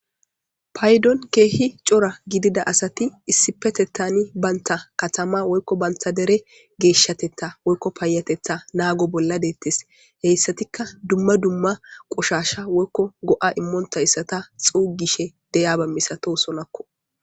Payidon kehi cora gidida asati issippeteththan banta katama woyikko banta dere geshshatetha woyikko dere payateththa nago bola dettes hesatikka dumma dumma qoshshash woyikko go'a imontayisata xugishshe de'iyaba misatosonakko